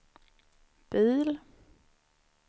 bil